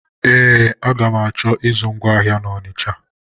Ee, aga m achọ ịzụ ngwa ahịa na Ọnisha.